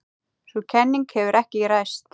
Sú kenning hefur ekki ræst.